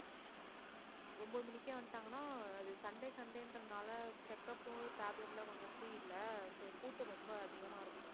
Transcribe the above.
ஒன்பது மணிக்கே வந்துட்டாங்கன்னா அது sunday, sunday என்றதுனால checkup உ tablet எல்லாம் கொஞ்சம் free இல்ல so கூட்டம் ரொம்ப அதிகமா இருக்கும்.